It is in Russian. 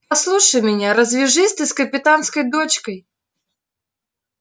послушайся меня развяжись ты с капитанскою дочкой